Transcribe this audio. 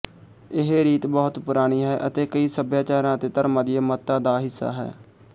ਇਹ ਰੀਤ ਬਹੁਤ ਪੁਰਾਣੀ ਹੈ ਅਤੇ ਕਈ ਸੱਭਿਆਚਾਰਾਂ ਅਤੇ ਧਰਮਾਂ ਦੀਆਂ ਮੱਤਾਂ ਦਾ ਹਿੱਸਾ ਹੈ